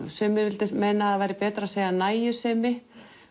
sumir vildu meina að það væri betra að segja nægjusemi